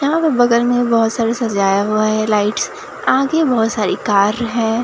यहां पे बगल में एक बहोत सारी सजाए हुआ है लाइट्स आगे बहोत सारी कार है।